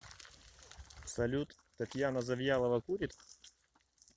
салют татьяна завьялова курит